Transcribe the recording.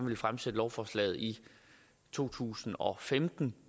vi fremsatte lovforslaget i to tusind og femten